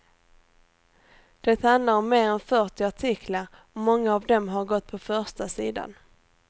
Det handlar om mer än fyrtio artiklar och många av dem har gått på första sidan.